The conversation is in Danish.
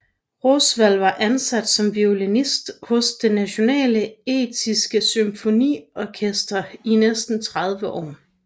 Rosenvald var ansat som violinist hos det Nationale Estiske Symfoniorkester i næsten 30 år